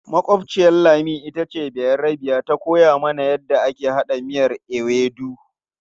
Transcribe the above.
Makwabciyar Lami ita ce bayarbiyar da ta koya mana yadda ake haɗa miyan ewedu.